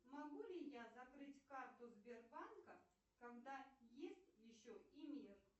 могу ли я закрыть карту сбербанка когда есть еще и мир